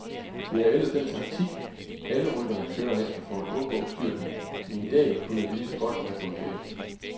Det er ellers den taktik, alle rytterne kører efter for at undgå styrtene, men i dag kunne det ligeså godt være gået galt.